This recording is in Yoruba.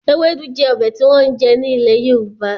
Ewédú jẹ́ ọbẹ̀ tí wọ́n ń jẹ ní ilè Yorùbá